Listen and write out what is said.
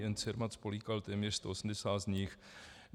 Jen Cermat spolykal téměř 180 z nich.